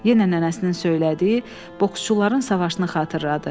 Yenə nənəsinin söylədiyi boksçuların savaşını xatırladı.